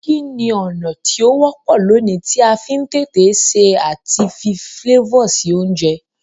Kíni ọ̀nà ti o wọ́pọ̀ loní ti a fi n tètè se àti fi flavor si ounje